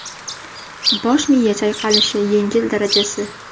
Bosh miya chayqalishi yengil darajasi.